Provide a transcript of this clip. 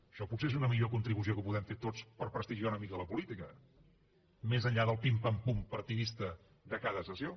això potser és una millor contribució que podem fer tots per prestigiar una mica la política més enllà del pim pam pum partidista de cada sessió